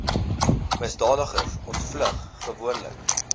misdadigers ontvlug gewoonlik